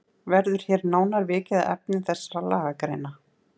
Verður hér nánar vikið að efni þessara lagagreina.